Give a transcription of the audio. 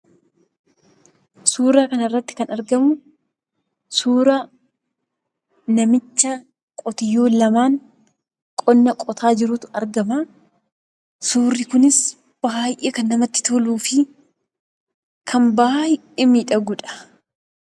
Suura kanarratti kan argamu suura namicha qotiyyoo lamaan qonna qotaa jirutu argamaa. Suurri kunis baay'ee kan namatti toluu fi kan baay'ee miidhaguudha.